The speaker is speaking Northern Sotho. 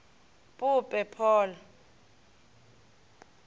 pope paul